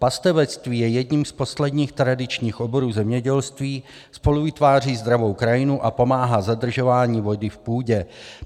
Pastevectví je jedním z posledních tradičních oborů zemědělství, spoluvytváří zdravou krajinu a pomáhá zadržování vody v půdě.